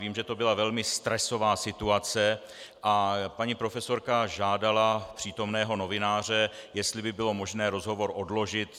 Vím, že to byla velmi stresová situace a paní profesorka žádala přítomného novináře, jestli by bylo možné rozhovor odložit.